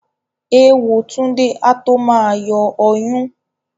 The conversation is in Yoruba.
Èwo Túndé á tó ma yọ ọyún